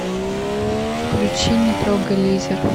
включи не трогай лизер